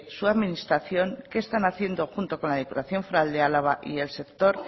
su administración qué están haciendo junto con la diputación foral de álava y el sector